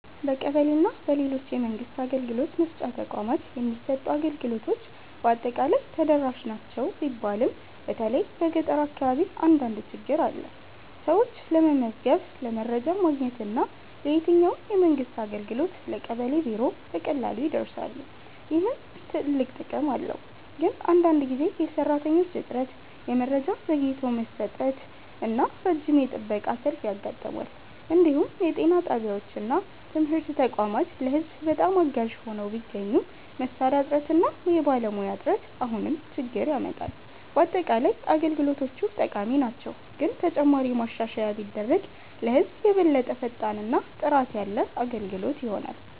በቀበሌ እና በሌሎች የመንግስት አገልግሎት መስጫ ተቋማት የሚሰጡ አገልግሎቶች በአጠቃላይ ተደራሽ ናቸው ቢባልም በተለይ በገጠር አካባቢ አንዳንድ ችግኝ አለ። ሰዎች ለመመዝገብ፣ ለመረጃ ማግኘት እና ለየትኛውም የመንግስት አገልግሎት በቀበሌ ቢሮ በቀላሉ ይደርሳሉ፣ ይህም ትልቅ ጥቅም ነው። ግን አንዳንድ ጊዜ የሰራተኞች እጥረት፣ የመረጃ ዘግይቶ መስጠት እና ረጅም የጥበቃ ሰልፍ ያጋጥማል። እንዲሁም የጤና ጣቢያዎች እና ትምህርት ተቋማት ለህዝብ በጣም አጋዥ ሆነው ቢገኙም መሳሪያ እጥረት እና የባለሙያ እጥረት አሁንም ችግኝ ያመጣል። በአጠቃላይ አገልግሎቶቹ ጠቃሚ ናቸው፣ ግን ተጨማሪ ማሻሻያ ቢደረግ ለህዝብ የበለጠ ፈጣን እና ጥራት ያለ አገልግሎት ይሆናል።